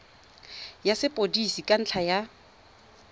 ya sepodisi ka ntlha ya